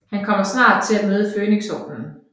Han kommer snart til at møde Fønixordenen